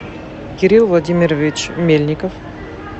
кирилл владимирович мельников